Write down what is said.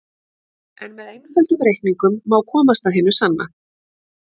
En með einföldum reikningum má komast að hinu sanna.